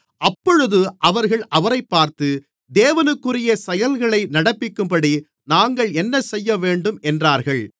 அப்பொழுது அவர்கள் அவரைப் பார்த்து தேவனுக்குரிய செயல்களை நடப்பிக்கும்படி நாங்கள் என்னசெய்யவேண்டும் என்றார்கள்